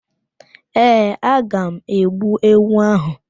Ee, aga m egbu ewu áhụ̀.